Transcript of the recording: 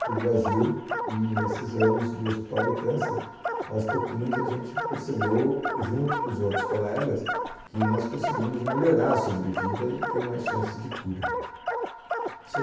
para o Brasil, e nesses anos do Hospital do Câncer, aos pouquinhos a gente percebeu, junto com os outros colegas, que nós conseguimos melhorar a sobrevida e ter mais chances de cura.